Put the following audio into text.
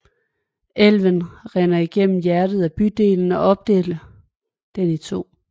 Elven rinder igennem hjertet af bygden og opdeler den i to